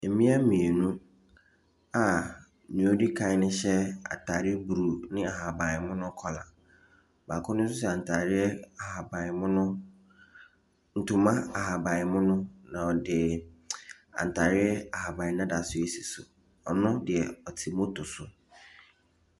Mmea mmienu a nea ɔdi kan no hyɛ atadeɛ blue ne ahaban mono kɔla. Baano hyɛ atadeɛ ahaban mono. Ntoma ahaban mono na ɔde ntareɛ ahaban dada nso si so. Ɔno deɛ ɔte moto so.